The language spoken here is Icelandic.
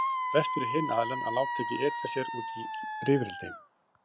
Þá er best fyrir hinn aðilann að láta ekki etja sér út í rifrildi.